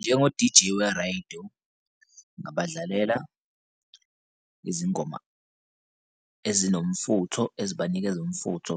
Njengo-deejay weredo ngabadlalela izingoma ezinomfutho ezibanikeza umfutho,